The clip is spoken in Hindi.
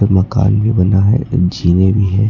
मकान भी बना है जीने भी है।